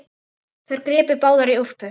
Þær gripu báðar í úlpu